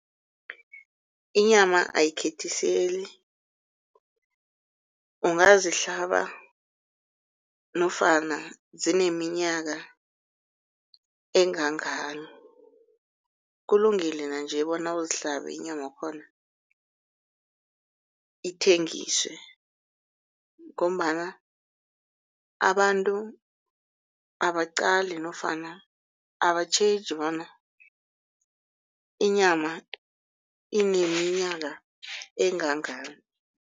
Inyama ayikhethiseli ungazihlaba nofana zineminyaka engangani. Kulungile nanje bona uzihlabe inyama yakhona ithengiswe ngombana abantu abaqali nofana abatjheje bona inyama ineminyaka engangani.